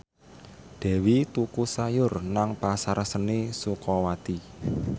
Dewi tuku sayur nang Pasar Seni Sukawati